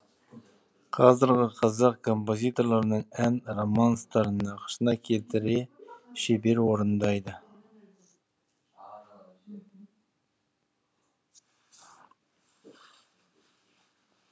қазіргі қазақ композиторларының ән романстарын нақышына келтіре шебер орындайды